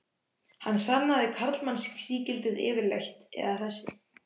Hvað sannaði karlmannsígildið yfirleitt, eða þessi